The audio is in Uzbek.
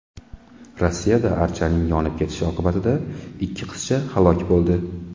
Rossiyada archaning yonib ketishi oqibatida ikki qizcha halok bo‘ldi.